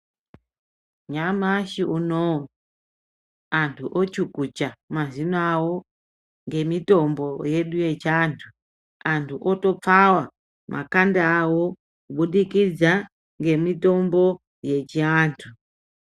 Nyamashi unowu, antu ochukucha mazino awo ngemitombo yedu yechiantu. Antu otopfawa, makanda awo, kubudikidza ngemitombo yechiantu.